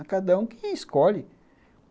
A cada um que escolhe.